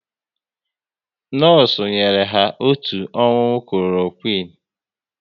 Nọọsụ nyere ya otu ọṅụṅụ Kloroquine